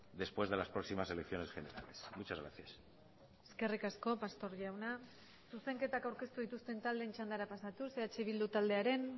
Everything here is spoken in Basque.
después de las próximas elecciones generales muchas gracias eskerrik asko pastor jauna zuzenketak aurkeztu dituzten taldeen txandara pasatuz eh bildu taldearen